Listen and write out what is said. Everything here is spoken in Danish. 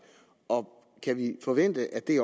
og kan vi forvente at det